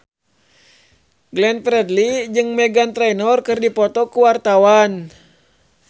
Glenn Fredly jeung Meghan Trainor keur dipoto ku wartawan